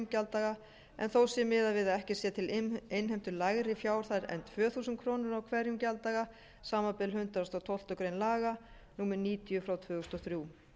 gjalddaga en þó sé miðað við að ekki sé til innheimtu lægri fjárhæð en tvö þúsund krónur á hverjum gjalddaga samanber hundrað og tólftu grein laga númer níutíu tvö þúsund og þrjú